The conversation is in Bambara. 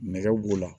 Nɛgɛ b'o la